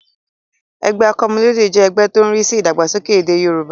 Ẹgbẹ́ akọ́mọlédè jẹ́ ẹgbẹ́ tó ń rí sí ìdàgbàsókè èdè Yorùbá